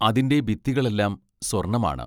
അതിന്റെ ഭിത്തികളെല്ലാം സ്വർണമാണ്.